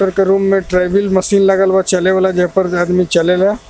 Doctor के room में ट्रायिविल मशीन लागल बा चले वाला जेप्पर आदमी चलेला.